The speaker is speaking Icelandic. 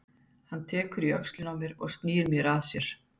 Hann tekur í öxlina á mér og snýr mér að sér.